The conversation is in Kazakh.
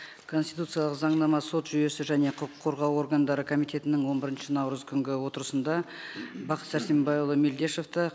конституциялық заңнама сот жүйесі және құқық қорғау органдары комитетінің он бірінші наурыз күнгі отырысында бақыт сәрсенбайұлы мелдешевті